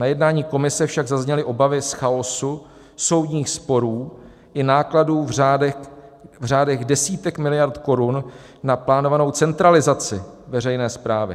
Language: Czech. Na jednání komise však zazněly obavy z chaosu, soudních sporů i nákladů v řádech desítek miliard korun na plánovanou centralizaci veřejné správy.